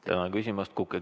Tänan küsimast!